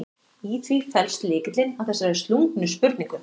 Í því felst lykillinn að þessari slungnu spurningu.